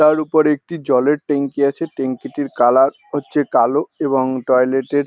তার উপর একটি জলের ট্যাংকি আছে ট্যাংকি টির কালার হচ্ছে কালো এবং টয়লেট -এর --